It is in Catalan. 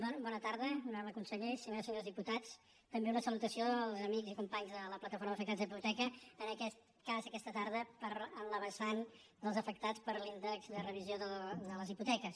bo·na tarda honorable conseller senyores i senyors dipu·tats també una salutació als amics i companys de la plataforma d’afectats per la hipoteca en aquest cas aquesta tarda en la vessant dels afectats per l’índex de revisió de les hipoteques